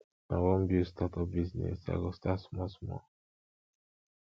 i wan build start up business i go start small small